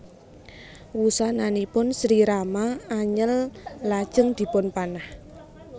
Wusananipun Sri Rama anyel lajeng dipunpanah